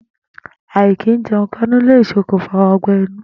Àì̀kìíje̩un-káńú le sokùnfà ó̩gbé̩-inú